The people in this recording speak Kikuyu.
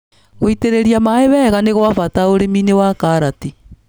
Gũitĩria maĩ wega nĩgwa bata ũrĩminĩ wa karati.